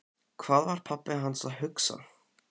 Hvað var pabbi hans að hugsa?